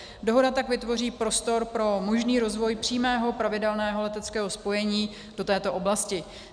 Dohoda tak vytvoří prostor pro možný rozvoj přímého pravidelného leteckého spojení do této oblasti.